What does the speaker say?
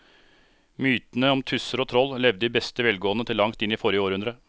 Mytene om tusser og troll levde i beste velgående til langt inn i forrige århundre.